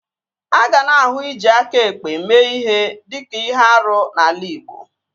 A ga na-ahụ iji aka ekpe mee ihe dịka ihe árú n'ala igbo